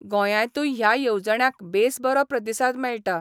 गोंयातूय ह्या येवजण्यांक बेस बरो प्रतिसाद मेळटा.